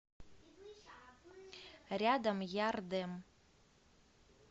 рядом ярдэм